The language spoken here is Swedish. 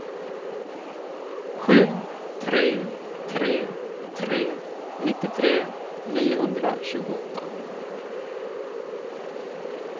sju tre tre tre nittiotre niohundratjugoåtta